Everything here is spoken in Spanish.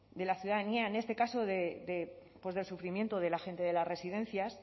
de la ciudadanía en este caso del sufrimiento de la gente de las residencias